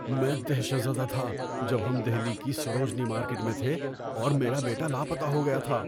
میں دہشت زدہ تھا جب ہم دہلی کی سروجنی مارکیٹ میں تھے اور میرا بیٹا لاپتہ ہو گیا تھا۔